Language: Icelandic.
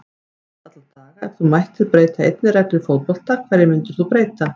Flest alla daga Ef þú mættir breyta einni reglu í fótbolta, hverju myndir þú breyta?